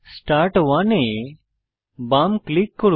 start 1 এ বাম click করুন